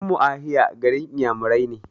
Ummuahia garin Inyamurai ne.